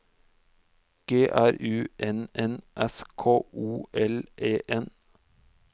G R U N N S K O L E N